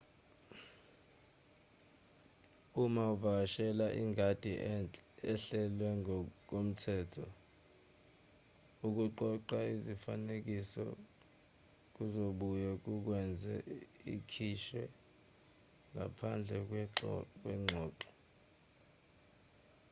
uma ukuvakashela ingadi ehlelwe ngokomthetho ukuqoqa izifanekiso kuzobuye kukwenze ukhishwe ngaphandle kwengxoxo